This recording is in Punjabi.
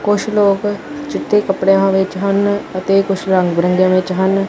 ਕੁਛ ਲੋਕ ਚਿੱਟੇ ਕੱਪੜਿਆਂ ਦੇ ਵਿੱਚ ਹਨ ਅਤੇ ਕੁਛ ਰੰਗ ਬਿਰੰਗਿਆਂ ਵਿੱਚ ਹਨ।